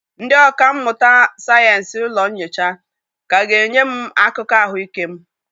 Ndị ọkà mmụta sayensị ụlọ nyocha ka ga-enye m akụkọ ahụike m